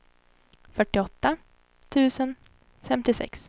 fyrtioåtta tusen femtiosex